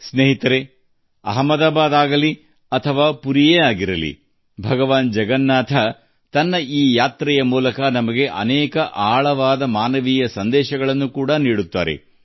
ಸ್ನೇಹಿತರೇ ಅದು ಅಹಮದಾಬಾದ್ ಇರಲಿ ಅಥವಾ ಪುರಿಯಿರಲಿ ಜಗನ್ನಾಥ ದೇವರು ಈ ಪ್ರಯಾಣದ ಮೂಲಕ ನಮಗೆ ಅನೇಕ ಆಳವಾದ ಮಾನವ ಸಂದೇಶಗಳನ್ನು ನೀಡುತ್ತಾರೆ